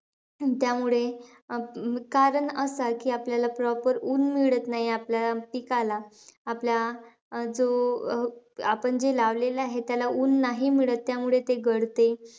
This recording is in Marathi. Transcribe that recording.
त्यामुळे अं कारण असंय की, आपल्याला proper ऊन मिळत नाही, आपल्या पिकाला. आपल्या अं जो आपण जे लावलेलं आहे, त्याला ऊन नाही मिळत त्यामुळे ते गळते.